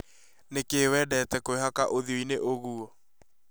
Nĩkĩ wendete kũihaka uthio ĩnĩ ũguo?